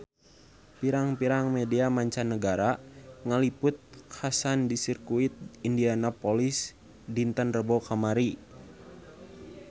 Pirang-pirang media mancanagara ngaliput kakhasan di Sirkuit Indianapolis dinten Rebo kamari